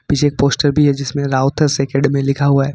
नीचे एक पोस्टर भी है जिसमें राउतर्स अकेडमी लिखा हुआ है।